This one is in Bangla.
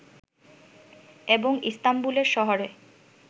এবং ইস্তানবুল শহরে